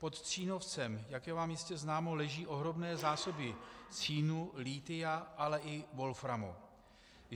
Pod Cínovcem, jak je vám jistě známo, leží ohromné zásoby cínu, lithia, ale i wolframu.